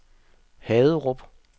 Haderup